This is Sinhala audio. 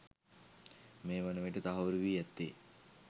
මේ වන විට තහවුරු වී ඇත්තේ